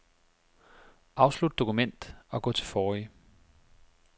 Afslut dokument og gå til forrige.